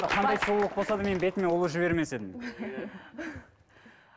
қандай сұлулық болса да мен бетіме ұлу жібермес едім